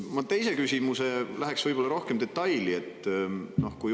Ma teise küsimusega lähen rohkem detaili.